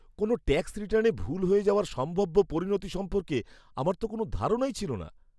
কোনও ট্যাক্স রিটার্নে ভুল হয়ে যাওয়ার সম্ভাব্য পরিণতি সম্পর্কে আমার তো কোনও ধারণাই ছিল না।